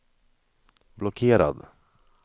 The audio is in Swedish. blockerad